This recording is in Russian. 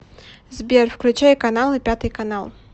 сбер включай каналы пятый канал